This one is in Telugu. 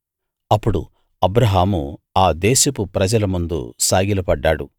అప్పుడు అబ్రాహాము ఆ దేశపు ప్రజల ముందు సాగిల పడ్డాడు